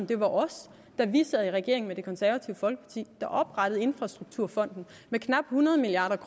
det var os da vi sad i regering med det konservative folkeparti der oprettede infrastrukturfonden med knap hundrede milliard